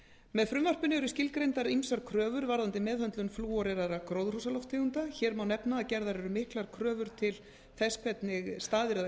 með frumvarpinu eru skilgreindar ýmsar kröfur varðandi meðhöndlun flúoreraðra gróðurhúsalofttegunda hér má nefna að gerðar eru miklar kröfur til þess hvernig staðið er að